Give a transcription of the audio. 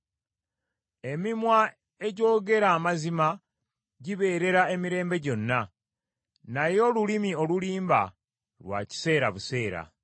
Emimwa egyogera amazima gibeerera emirembe gyonna, naye olulimi olulimba lwa kiseera buseera.